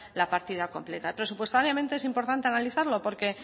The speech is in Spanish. la partida completa presupuestariamente es importante analizarlo porque